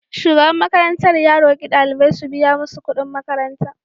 Shugaban makarantar ya roki daliban su biya musu kudin makaranta.